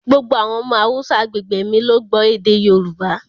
Gbogbo àwọn ọmọ Haúsá agbègbè mi ló gbọ́ èdè Yorùbá